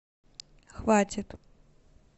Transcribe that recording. хватит